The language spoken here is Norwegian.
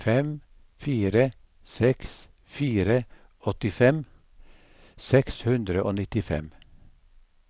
fem fire seks fire åttifem seks hundre og nittifem